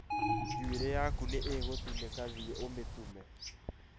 Njuĩrĩ yaku nĩ ĩgũtinĩka thiĩ ũmĩtume